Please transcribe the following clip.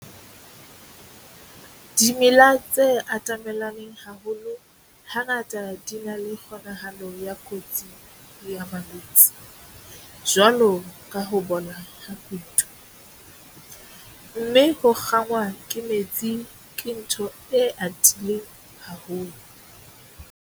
Dimela tse atamelaneng haholo hangata di na le kgonahalo ya kotsi ya malwetse, jwalo ka ho bola ha kutu, mme ho kgangwa ke metsi ke ntho e atileng haholo.